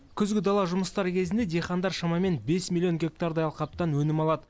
күзгі дала жұмыстары кезінде диқандар шамамен бес миллион гектардай алқаптан өнім алады